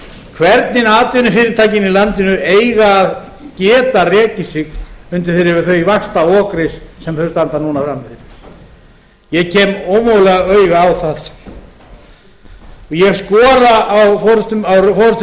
hvernig atvinnufyrirtækin í landinu eiga að geta rekið sig undir því vaxtaokri sem þau standa núna frammi fyrir ég kem ómögulega auga á það ég skora